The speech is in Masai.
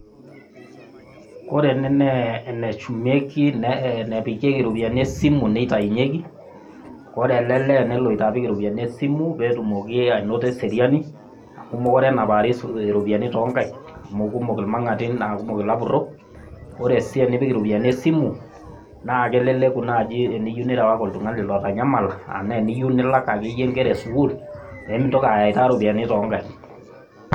Ore ene naa eneshumieki naa enepikieki iropiani esimu nneya neitainyeki . Ore ele lee neloito apik iropiani esimu pee etumoki ainoto eseriani amu mekuree enapari iropiani too nkaik amu kumok ilmang'ati naa kumok irapurok, ore sii teneipik iropiani esimu naa keleleku naaji teneyiou nirewaki oltung'ani otanyamala ana teniyiu nilak ake iyie inkera e sukuul e mintoki ayaita iropiani too inkaik.